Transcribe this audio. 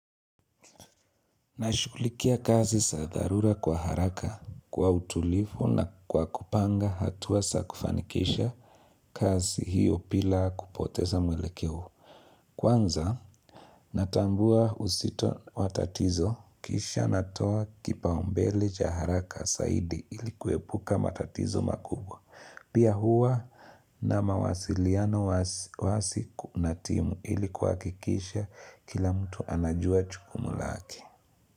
Nashulikia kazi sadharura kwa haraka kwa utulifu na kwa kupanga hatuwa sakufanikisha kazi hiyo pila kupoteza mwelekeo. Kwanza natambua usito watatizo kisha natoa kipaumbele cha haraka saidi ilikuwepuka matatizo makubwa. Pia huwa na mawasiliano wasi kunatimu ilikuwa kikisha kila mtu anajua chukumu laki.